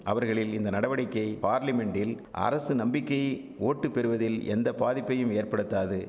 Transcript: அவர்களில் இந்த நடவடிக்கை பார்லிமென்டில் அரசு நம்பிக்கை ஓட்டு பெறுவதில் எந்த பாதிப்பையும் ஏற்படுத்தாது